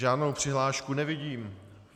Žádnou přihlášku nevidím.